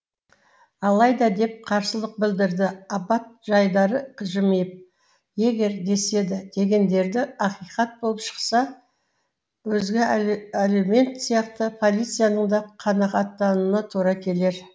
алайда деп қарсылық білдірді аббат жайдары жымиып егер деседі дегендерді ақиқат болып шықса өзге әлеумет сияқты полицияның да қанағаттануына тура келер